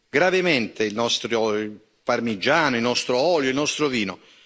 gravemente il nostro parmigiano, il nostro olio, il nostro vino?